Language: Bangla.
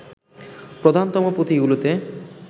প্রধানতম পুঁথিগুলিতে